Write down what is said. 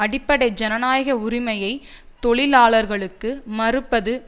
அடிப்படை ஜனநாயக உரிமையை தொழிலாளர்களுக்கு மறுப்பது